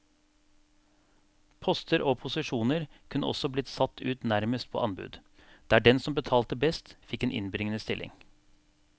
Poster og posisjoner kunne også bli satt ut nærmest på anbud, der den som betalte best fikk en innbringende stilling.